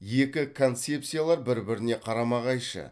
екі концепциялар бір біріне қарама қайшы